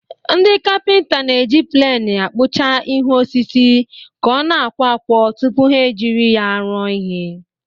Ndị kapịnta na-eji pleni akpụcha ihu osisi ka ọ na-akwọ akwọ tupu ha e jiri ya rụọ ihe.